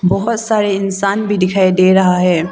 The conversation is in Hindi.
बहोत सारे इंसान भी दिखाई दे रहा है।